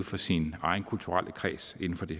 for sin egen kulturelle kreds inden for det